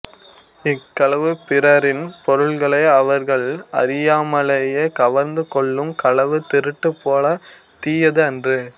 இக்களவு பிறரின் பொருள்களை அவர்கள் அறியாமலேயே கவர்ந்து கொள்ளும் களவு திருட்டு போலத் தீயது அன்று